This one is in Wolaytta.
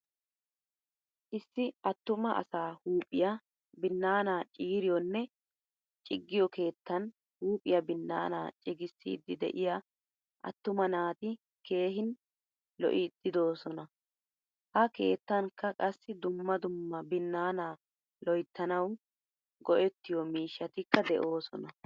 Issi attuma asaa huuphphiyaa binaana ciiriyonne ciggiyo keettan huuphphiya binaana ciigisidi de'iyaa attuma naati keehin lo'idi de'osona. Ha keettankka qassi dumma dumma binaana loyttanawu go'ettiyo miishshatikka deosona.